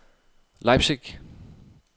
Leipzig